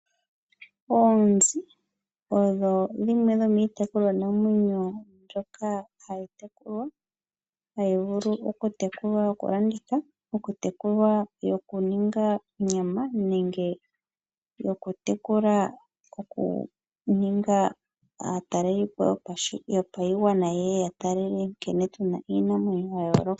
Oonzi odho dhimwe dhomiitekulwanamwenyo mbyoka hayi tekulwa, hayi vulu okutelwa yokulanditha, yokutekulwa okuninga onyama nenge yokutekula okuninga aataleli po yopaigwana yeye ya tale nkene tuna iinamwenyo ya yooloka.